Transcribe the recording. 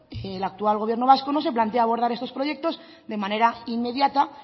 el actual gobierno vasco no se plantea abordar estos proyectos de manera inmediata